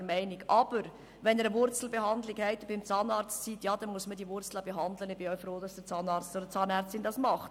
Aber wenn Sie beim Zahnarzt eine Wurzelbehandlung haben, muss man diese Wurzel behandeln, und ich bin auch froh, dass der Zahnarzt oder die Zahnärztin dies tut.